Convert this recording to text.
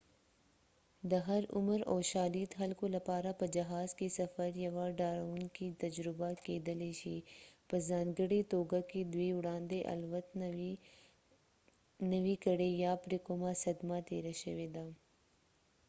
د هر عمر او شالید خلکو لپاره په جهاز کې سفر یوه ډاروونکې تجربه کېدلای شي په ځانګړې توګه که دوی وړاندې الوت نه وي کړی یا پرې کومه صدمه تېره شوې ده